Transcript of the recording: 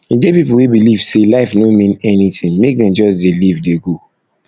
e get pipo wey believe sey life no mean anything make dem just dey live dey go